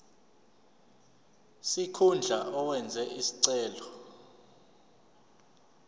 sikhundla owenze isicelo